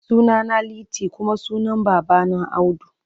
Sunana Liti kuma sunan babana Audu.